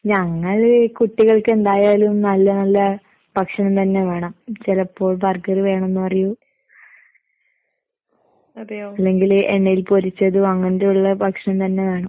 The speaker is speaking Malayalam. ഞങ്ങൾ കുട്ടികൾക്കെന്തായാലും നല്ല നല്ല ഭക്ഷണം തന്നെ വേണം. ചെലപ്പോ ബർഗറ് വേണംന്ന് പറയും. അല്ലെങ്കില് എണ്ണയിൽ പൊരിച്ചത് അങ്ങനെയൊള്ള ഭക്ഷണം തന്നെ വേണം.